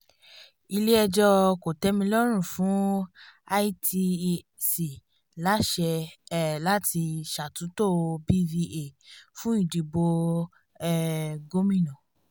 ilé̩ẹjọ́ kò̩tẹ́milọ́rùn fún itec lásé̩ um láti ṣàtúntò bva fún ìdìbò um gómìnà